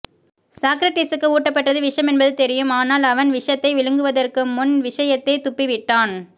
சாக்ரடீஸுக்கு ஊட்டப்பட்டது விஷமென்பது தெரியும் ஆனால் அவன் விஷத்தை விழுங்குவதற்குமுன் விஷயத்தைத்துப்பிவிட்டான்